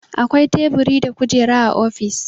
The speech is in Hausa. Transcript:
Akwai Teburi da Kujera a ofis.